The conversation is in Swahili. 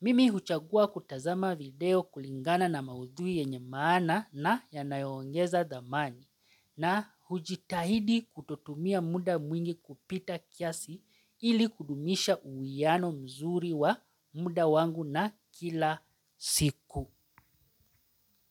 Mimi huchagua kutazama video kulingana na maudhui yenye maana na yanayoongeza dhamani na hujitahidi kutotumia muda mwingi kupita kiasi ili kudumisha uwiano mzuri wa muda wangu na kila siku.